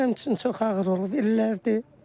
Mənim üçün çox ağır olub illərdir.